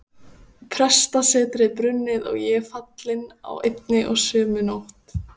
Prestssetrið brunnið og ég fallinn á einni og sömu nótt!